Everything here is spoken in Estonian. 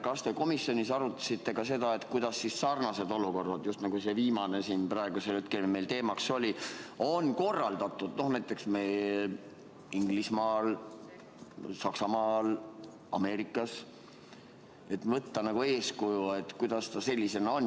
Kas te komisjonis arutasite ka seda, kuidas siis sarnased olukorrad, just nagu see viimane siin meil teemaks oli, on korraldatud näiteks Inglismaal, Saksamaal, Ameerikas, et saaks võtta eeskuju?